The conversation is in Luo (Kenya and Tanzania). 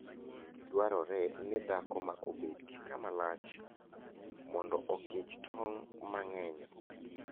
Dwarore ni dhako ma obed gi kama lach mondo oKichtong' mang'eny.